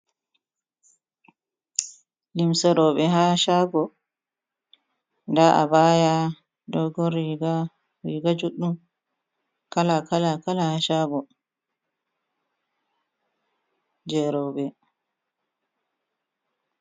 Limseroɓe ha shago nda a baya dogo riga juɗɗum kala kala kala ha chago jeroe.